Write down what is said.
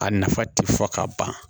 A nafa ti fɔ ka ban